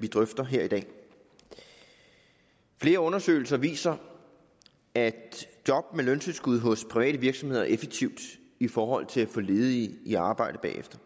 vi drøfter her i dag flere undersøgelser viser at job med løntilskud hos private virksomheder er effektivt i forhold til at få ledige i arbejde bagefter